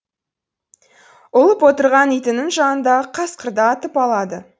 ұлып отырған итінің жанындағы қасқырды атып алады